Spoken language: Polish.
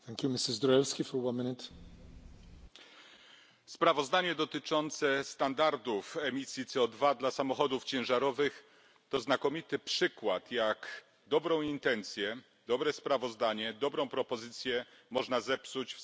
Panie Przewodniczący! Sprawozdanie dotyczące standardów emisji CO2 dla samochodów ciężarowych to znakomity przykład, jak dobrą intencję, dobre sprawozdanie, dobrą propozycję można zepsuć w samych głosowaniach.